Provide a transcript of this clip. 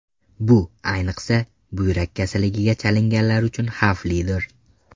Bu, ayniqsa, buyrak kasalligiga chalinganlar uchun xavflidir.